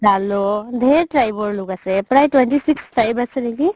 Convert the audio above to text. ধেৰ tribe ৰ লোক আছে প্ৰায় twenty six tribe আছে নেকি